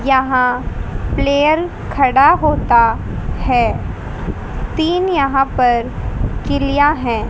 यहां प्लेयर खड़ा होता है तीन यहां पर गिल्लियां हैं।